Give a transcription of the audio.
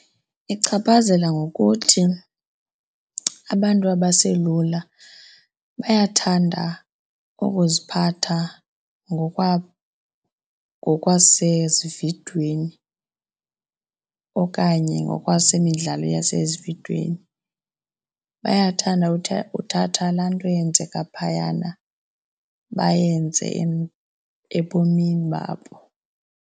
Ichaphazela ngokuthi abantu abaselula bayathanda ukuziphatha ngokwasezividweni okanye ngokwesemidlalo nasezividweni. Bayathanda uthatha laa nto yenzeka phayana bayenze ebomini babo.